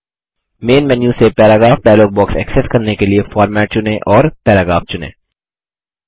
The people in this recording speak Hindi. मैन मेन्यू से पैराग्राफ डायलॉग बॉक्स ऐक्सेस करने के लिए फॉर्मेट चुनें और पैराग्राफ चुनें